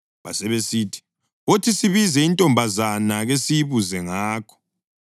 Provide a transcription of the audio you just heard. Basebesithi, “Wothi sibize intombazana kesiyibuze ngakho.”